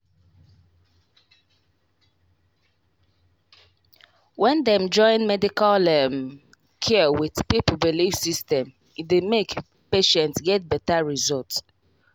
wait small — when dem join medical um care with people belief system e dey make patient get better result.